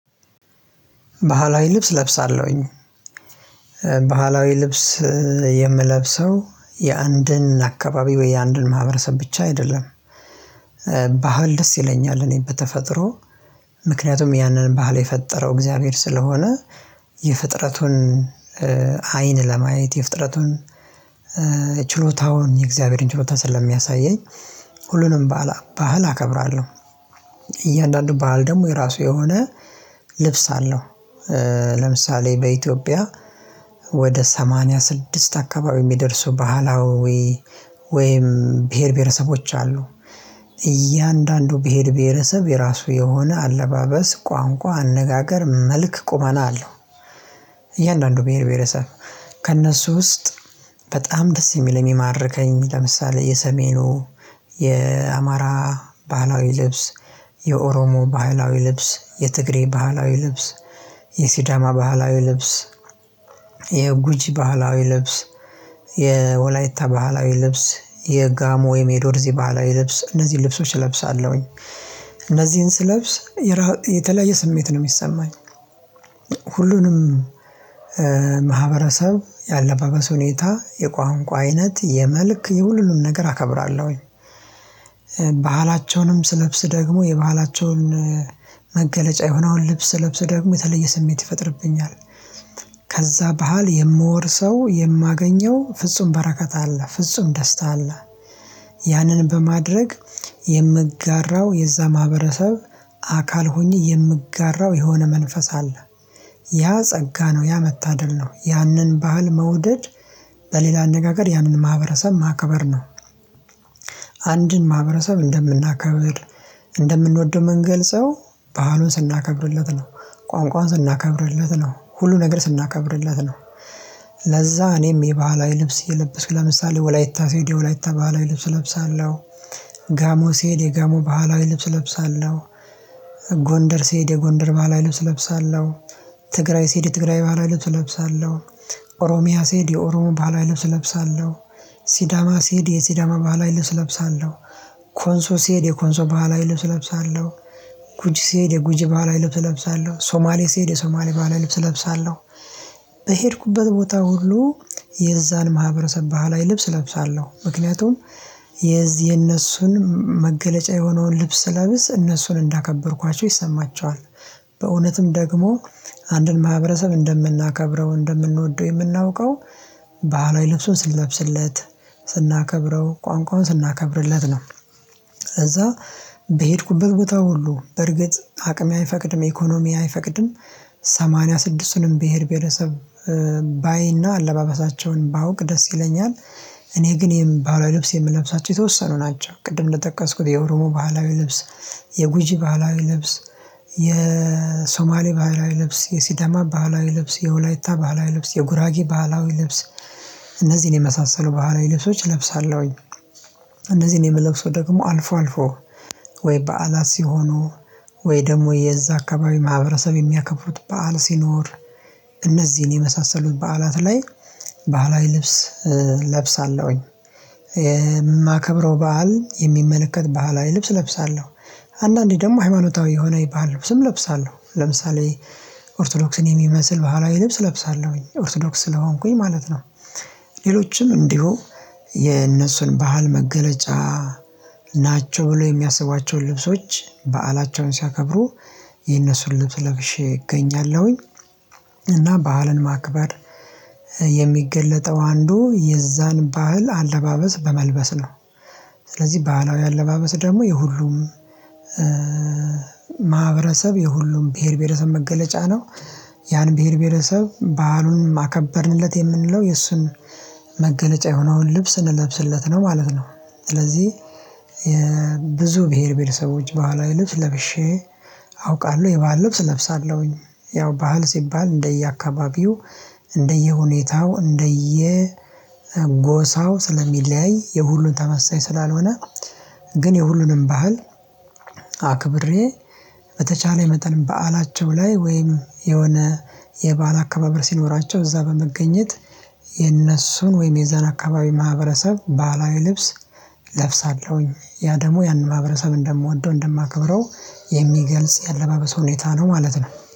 ባህላዊ ልብስ ለብሳለሁኝ። ባህላዊ ልብስ የምለብሰው የአንድን አካባቢ ወይ የአንድን ማህበረሰብ ብቻ አይደለም። ባህል ደስ ይለኛል እኔ በተፈጥሮ ምክንያቱም ያንን ባህል የፈጠረው እግዚአብሔር ስለሆነ። የፍጥረቱን አይን ለማየት የፍጥረቱን ችሎታውን የእግዚአብሔርን ችሎታ ስለሚያሳየኝ። ሁሉንም ባህል አከብራለሁ። እያንዳንዱ ባህል ደግሞ የራሱ የሆነ ልብስ አለው። ለምሳሌ በኢትዮጵያ ወደ ሰማንያ ስድስት አካባቢ የሚደርሱ ባህላዊ ወይም ብሄር ብሄረሰቦች አሉ። እያንዳንዱ ብሄር ብሄረሰብ የራሱ የሆነ አለባበስ ቋንቋ አነጋገር መልክ ቁመና አለው። እያንዳንዱ ብሄር ብሄረሰብ ከእነሱ ውስጥ በጣም ደስ የሚል የሚማርከኝ የሚል የሰሜኑ የአማራ ባህላዊ ልብስ የኦሮሞ ባህላዊ ልብስ የትግሬ ባህላዊ ልብስ የሲዳማ ባህላዊ ልብስ የጉጂ ባህላዊ ልብስ የወላይታ ባህላዊ ልብስ የጋሞ የሜዶርዚ እዚህ ባህላዊ ልብስ እነዚህን ልብሶች እለብሳለሁኝ። እነዚህን ስለብስ የተለያየ ስሜት ነው የሚሰማኝ። ሁሉንም ማህበረሰብ የአለባበስ ሁኔታ የቋንቋ አይነት የመልክ የሁሉንም ነገር አከብራለሁኝ። ባህላቸውንም ስለብስ ደግሞ የባህላቸውን መገለጫ የሆነ አሁን ልብስ ለብስ ደግሞ የተለየ ስሜት ይፈጥርብኛል። ከዛ ባህል የምወርሰው የማገኘው ፍጹም በረከት አለ ፍጹም ደስታ አለ። ያንን በማድረግ የምጋራው የዛ ማህበረሰብ አካል ሆኜ የምጋራው የሆነ መንፈስ አለ። ያ ጸጋ ነው ያ መታደል ነው። ያንን ባህል መውደድ በሌላ አነጋገር ያንን ማህበረሰብ ማክበር ነው። አንድን ማህበረሰብ እንደምናከብር እንደምንወደው የምንገልጸው ባህሉን ስናከብርለት ነው። ቋንቋውን ስናከብርለት ነው ሁሉ ነገር ስናከብርለት ነው። ለዛ እኔም የባህላዊ ልብስ እየለበስኩ ለምሳሌ ወላይታ ስሄድ የወላይታ ባህላዊ ልብስ እለብሳለሁ። ጋሞ ሲሄድ የጋሞ ባህላዊ ልብስ እለብሳለሁ። ጎንደር ሲሄድ የጎንደር ባህላዊ ልብስ እለብሳለሁ። ትግራይ ስሄድ የትግራይ ባህላዊ ልብስ እለብሳለሁ ኦሮሚያ ስሄድ የኦሮሞ ባህላዊ ልብስ እለብሳለሁ። ሲዳማ ሲሄድ የሲዳማ ባህላዊ ልብስ እለብሳለሁ። ኮንሶ ሲሄድ የኮንሶ ባህላዊ ልብስ እለብሳለሁ። ጉጅ ሲሄድ የጉጅ ባህላዊ ልብስ እለብሳለሁ ሶማሌ ሲሄድ የሶማሌ ባህላዊ ልብስ እለብሳለሁ። በሄድኩበት ቦታ ሁሉ የዛን ማህበረሰብ ባህላዊ ላይ ልብስ እለብሳለሁ ምክንያቱም የዚህ የነሱን መገለጫ የሆነውን ልብስ ለብስ እነሱን እንዳከበርኳቸው ይሰማቸዋል። በእውነትም ደግሞ አንድን ማህበረሰብ እንደምናከብረው እንደምንወደው የምናውቀው ባህላዊ ልብሱን ስንለብስለት ስናከብረው ቋንቋውን ስናከብርለት ነው። ከዛ በሄድኩበት ቦታ ሁሉ በርግጥ አቅሜ አይፈቅድም ኢኮኖሚ አይፈቅድም። ሰማንያ ስድስቱንም ብሄር ቤተሰብ ባይና አለባበሳቸውን ባውቅ ደስ ይለኛል። እኔ ግን የምለብሳቸው የተወሰኑ ናቸው ቅድም እንደጠቀስኩት የኦሮሞ ባህላዊ ልብስ። የጉጂ ባህላዊ ልብስ የሶማሌ ባህላዊ ልብስ የሲዳማ ባህላዊ ልብስ የወላይታ ባህላዊ ልብስ የጉራጊ ባህላዊ ልብስ። እነዚህን የመሳሰሉ ባህላዊ ልብሶች እለብሳለሁኝ። እነዚህን የምለብሰው ደግሞ አልፎ አልፎ ወይ በዓላት ሲሆኑ ወይ ደግሞ የዛ አካባቢ ማህበረሰብ የሚያከብሩት በዓል ሲኖር እነዚህን የመሳሰሉት በዓላት ላይ ባህላዊ ልብስ ለብሳለሁኝ። የማከብረው በዓል የሚመለከት ባህላዊ ልብስ እለብሳለሁ። አንዳንዴ ደግሞ ሃይማኖታዊ የሆነ ባህል ልብስም እለብሳለሁ ለምሳሌ ኦርቶዶክስን የሚመስል ባህላዊ ልብስ እለብሳለሁኝ ኦርቶዶክስ ስለሆንኩኝ ማለት ነው። ሌሎችም እንዲሁ የነሱን ባህል መገለጫ ናቸው ብሎ የሚያስባቸውን ልብሶች በዓላቸውን ሲያከብሩ የነሱን ልብስ ለብሼ እገኛለሁኝ። እና ባህልን ማክበር የሚገለጠው አንዱ የዛን ባህል አለባበስ በመልበስ ነው። ስለዚህ ባህላዊ አለባበስ ደግሞ የሁሉም ማህበረሰብ የሁሉም ብሄር ብሄረሰብ መገለጫ ነው። ያን ብሄር ብሄረሰብ ባህሉን አከበርንለት የምንለው የእሱን መገለጫ የሆነውን ልብስ ስንለብስለት ነው ማለት ነው። ስለዚህ የብዙ ብሄር ብሄረሰቦች ልብስ ለብሼ አውቃለሁ የባህል ልብስ እለብሳለሁኝ። ያው ባህል ሲባል እንደየአካባቢው እንደየሁኔታው እንደየ ጎሳው ስለሚለያይ የሁሉን ተመሳይ ስላልሆነ። ግን የሁሉንም ባህል አክብሬ በተቻለ መጠን በዓላቸው ላይ ወይም የሆነ የበአል አካባቢር ሲኖራቸው እዛ በመገኘት የነሱን ወይም የዛን አካባቢ ማህበረሰብ ባህላዊ ልብስ እለብሳለሁኝ። ያ ደግሞ ያንን ማህበረሰብ እንደምወደው እንደማከብረው የሚገልጽ የአለባበስ ሁኔታ ነው ማለት ነው